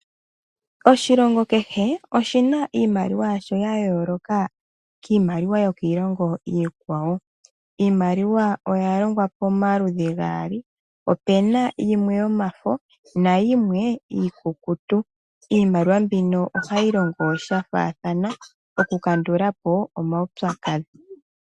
Oshilongo keshe oshina iimaliwa yasho yayooloka kiimaliwa yokiilongo iikwawo. Iimaliwa oyalongwa pomaludhi gaali opena yimwe yomafo nayimwe iikukutu iimaliwa mbino ohayi longo shafaathana okukandulapo omaupyakadhi.